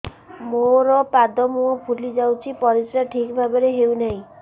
ମୋର ପାଦ ମୁହଁ ଫୁଲି ଯାଉଛି ପରିସ୍ରା ଠିକ୍ ଭାବରେ ହେଉନାହିଁ